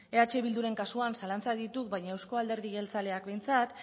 eh bilduren kasuan zalantzak ditut baina euzko alderdi jeltzaleak behintzat